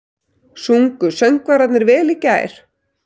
Sungu söngvararnir vel í gær?